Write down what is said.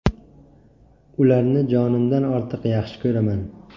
Ularni jonimdan ortiq yaxshi ko‘raman.